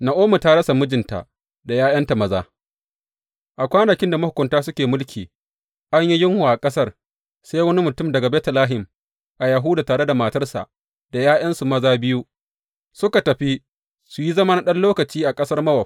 Na’omi ta rasa mijinta da ’ya’yanta maza A kwanakin da mahukunta suke mulki an yi yunwa a ƙasar, sai wani mutum daga Betlehem a Yahuda tare da matarsa da ’ya’yansu maza biyu, suka tafi su yi zama na ɗan lokaci a ƙasar Mowab.